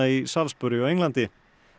í Salisbury á Englandi